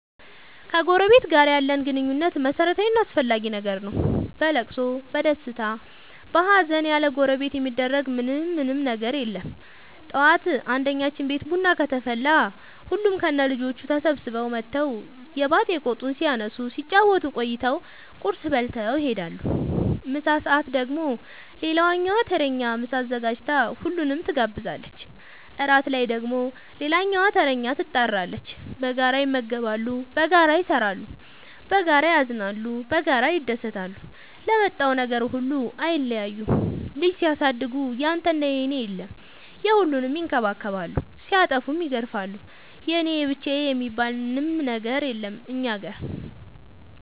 ከጎረበት ጋር ያለን ግንኙነት መረታዊ እና አስፈላጊ ነገር ነው። በለቅሶ በደስታ በሀዘን ያለጎረቤት የሚደረግ ምን ምንም ነገር የለም ጠዋት አንድኛችን ቤት ቡና ከተፈላ ሁሉም ከነ ልጆቹ ተሰብስበው መተው የባጥ የቆጡን ሲያነሱ ሲጫወቱ ቆይተው ቁርስ በልተው ይሄዳሉ። ምሳ ሰአት ደግሞ ሌላኛዋ ተረኛ ምሳ አዘጋጅታ ሁሉንም ትጋብዛለች። እራት ላይ ደግሞ ሌላኛዋተረኛ ትጣራለች። በጋራ ይመገባሉ በጋራ ይሰራሉ። በጋራ ያዝናሉ በጋራ ይደሰታሉ ለመጣው ነገር ሁሉ አይለያዩም ልጅ ሲያሳድጉ ያንተና የኔ የለም የሁሉንም ይከባከባሉ ሲጠፉም ይገርፋሉ የኔ የብቻዬ የሚባል አንድም ነገር የለም እኛ ጋር።